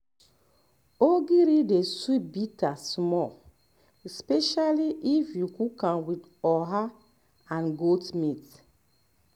ogiri dey soup better smell especially if you cook am with oha um and um goat meat